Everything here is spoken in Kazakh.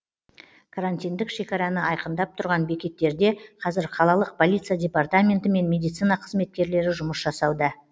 карантиндік шекараны айқындап тұрған бекеттерде қазір қалалық полиция департаменті мен медицина қызметкерлері жұмыс жасауда